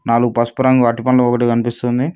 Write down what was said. నాలుగు పసుపు రంగు అరటిపండ్లు ఒకటి కనిపిస్తుంది.